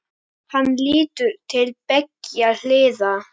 Hann lítur til beggja hliða.